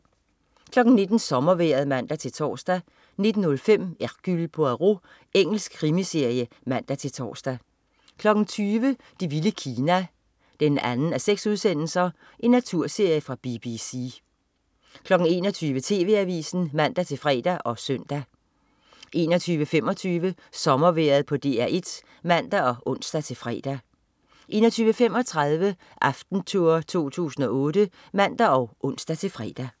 19.00 Sommervejret (man-tors) 19.05 Hercule Poirot. Engelsk krimiserie (man-tors) 20.00 Det vilde Kina 2:6. Naturserie fra BBC 21.00 TV AVISEN (man-fre og søn) 21.25 Sommervejret på DR1 (man og ons-fre) 21.35 Aftentour 2008 (man og ons-fre)